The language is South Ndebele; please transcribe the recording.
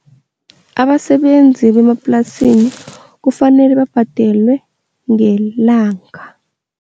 Abasebenzi bemaplasini kufanele babhadelwe ngelanga.